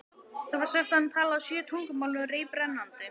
Það var sagt að hann talaði sjö tungumál reiprennandi.